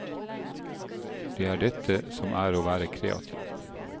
Det er dette som er å være kreativ.